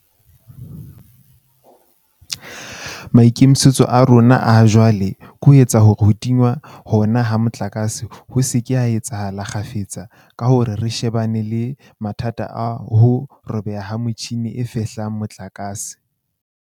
Maikemisetso a rona a ha jwale ke ho etsa hore ho tingwa hona ha motlakase ho se ke ha etsahala kgafetsa ka hore re shebane le mathata a ho robeha ha metjhini e fehlang motlakase.